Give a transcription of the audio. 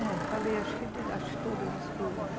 É, falei, acho acho que todas as coisas.